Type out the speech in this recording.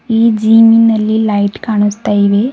ಈ ಜಿಮಿನಲ್ಲಿ ಲೈಟ್ ಕಾಣಿಸ್ತಾ ಇದೆ.